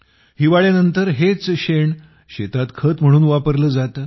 हिवाळ्यानंतर हेच शेण शेतात खत म्हणून वापरले जाते